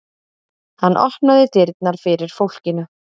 Hann opnaði dyrnar fyrir fólkinu.